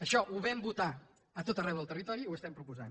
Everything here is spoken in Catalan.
això ho vam votar a tot arreu del territori i ho estem proposant